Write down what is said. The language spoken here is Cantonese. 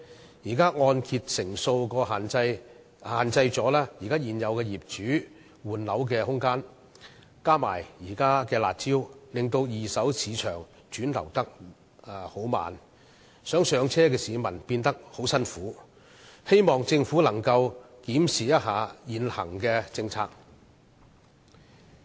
現時的按揭成數限制了現有業主換樓的空間，再加上現時的"辣招"使二手市場流轉緩慢，以致希望"上車"的市民很辛苦，我希望政府可以檢視現行政策。